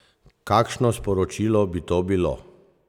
Kakšno sporočilo bi to bilo?